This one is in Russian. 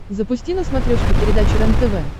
запусти на смотрешке передачу рентв